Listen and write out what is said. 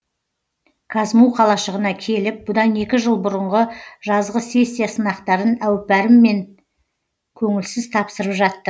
казму қалашығына келіп бұдан екі жыл бұрынғы жазғы сессия сынақтарын әупәріммен көңілсіз тапсырып жаттым